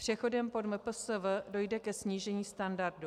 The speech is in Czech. Přechodem pod MPSV dojde ke snížení standardu.